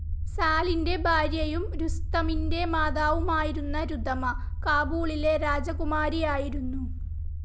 സാലിൻ്റെ ഭാര്യയും രുസ്തമിൻ്റെ മാതാവുമായിരുന്ന രുധമ, കാബൂളിലെ രാജകുമാരിയായിരുന്നു